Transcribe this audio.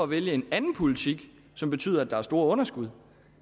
vælger en anden politik som betyder at der er store underskud